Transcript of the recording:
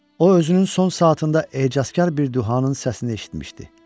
O özünün son saatında ecazkar bir duhanın səsini eşitmişdi.